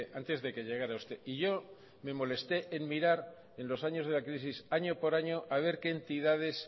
antes de que llegara usted y yo me molesté en mirar en los años de la crisis año por año a ver qué entidades